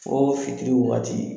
Foo fitiri wagati